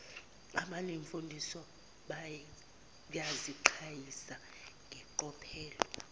abanemfundiso bayaziqhayisa ngeqophelo